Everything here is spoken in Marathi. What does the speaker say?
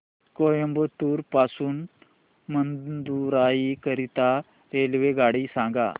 कोइंबतूर पासून मदुराई करीता रेल्वेगाडी सांगा